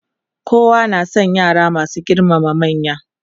kowa na San yara masu girmama manya.